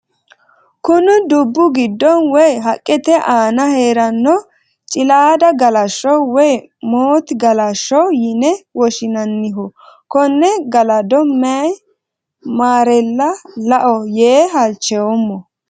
Kunni dubu gido woyi haqete aanna heerano cilaada galasho woyi moote galasho yinne woshinnanniho Kone galado mayi marela la'o yee halchoomo.